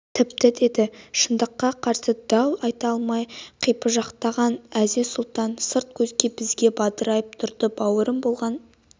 тіпті деді шындыққа қарсы дау айта алмай қипыжықтаған әзиз-сұлтан сырт көз бізге бадырайып тұрады бауырым болған